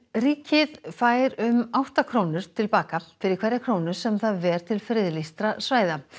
ríkið fær um átta krónur til baka fyrir hverja krónu sem það ver til friðlýstra svæða